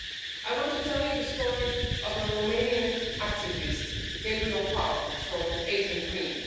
I want to tell you the story of a Romanian activist, Gabriel Paun from Agent Green.